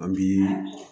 An bi